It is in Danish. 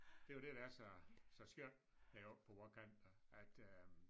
Det jo det der er så så skønt heroppe på vore kanter at øh